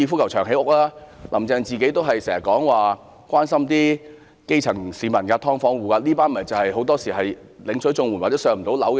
"林鄭"常說關心基層市民、"劏房戶"，他們大多是領取綜援或無法"上樓"的人。